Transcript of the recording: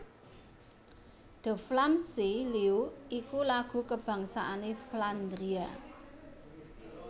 De Vlaamse Leeuw iku lagu kabangsané Flandria